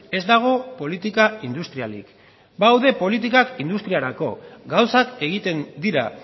ez dago politika industrialik badaude politikak industriarako gauzak egiten dira